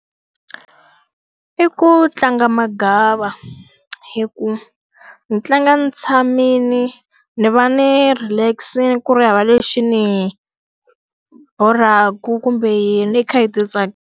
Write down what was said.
I ku tlanga magava hi ku ni tlanga ni tshamile, ni va ni relax-ile ku ri hava lexi ni borhaku kumbe ni kha hi ti .